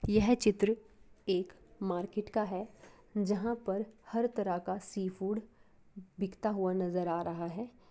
यह चित्र एक मार्केट का है जहाँ हर तरफ सी फूड बिकता हुआ नजर आ रहा है।